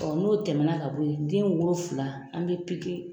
n'o tɛmɛ na ka bɔ ye den woro fila an bɛ piki